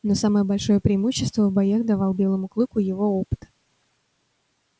но самое большое преимущество в боях давал белому клыку его опыт